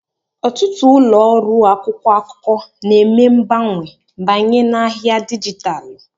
ọtụtụ ụlọ ọrụ akwụkwọ akụkọ na-eme mgbanwe banye n'ahịa dijitalụ